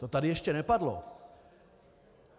To tady ještě nepadlo.